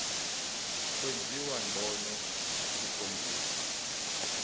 kwenziwa ngcono kukhonjiswa